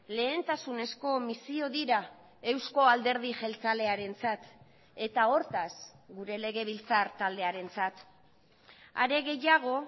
lehentasunezko misio dira euzko alderdi jeltzalearentzat eta hortaz gure legebiltzar taldearentzat are gehiago